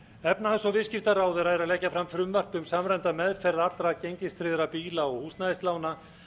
efnahags og viðskiptaráðherra er að leggja fram frumvarp um samræmda meðferð allra gengistryggðra bíla og húsnæðislána